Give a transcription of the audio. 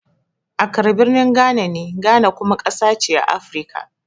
Accra birnin Ghana ne, Ghana kuma ƙasa ce na Afirka.